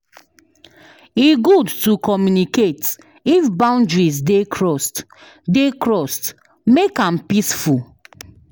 E good to communicate if boundaries dey crossed; dey crossed; make am peaceful.